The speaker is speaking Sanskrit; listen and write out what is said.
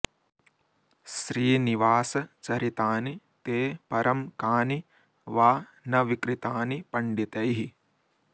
श्रीनिवास चरितानि ते परं कानि वा न विकृतानि पण्डितैः